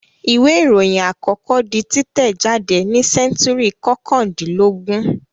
Ìwé-ìròyìn àkọ́kọ́ di títẹ̀jádé ní sẹ́ńtúrì kọkàndínlógún.